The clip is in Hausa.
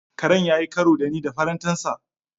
Karen ya yi karo da ni da farantansa.